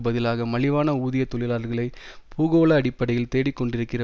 பதிலாக மலிவான ஊதிய தொழிலாளர்களை பூகோள அடிப்படையில் தேடிக்கொண்டிருக்கிற